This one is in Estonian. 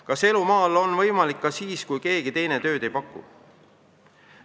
Kas elu maal on võimalik ka siis, kui keegi teine tööd ei paku?